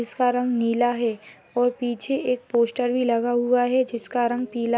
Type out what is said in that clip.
जिसका रंग नीला है और पीछे एक पोस्टर भी लगा हुआ है जिसका रंग पीला --